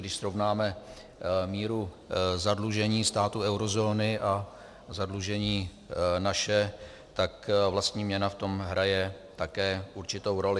Když srovnáme míru zadlužení států eurozóny a zadlužení naše, tak vlastní měna v tom hraje také určitou roli.